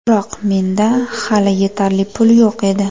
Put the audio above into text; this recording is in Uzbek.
Biroq menda hali yetarli pul yo‘q edi.